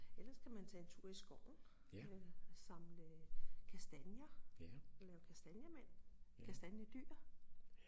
Ellers kan man tage en tur i skoven øh samle kastanjer og lave kastanjemænd kastanjedyr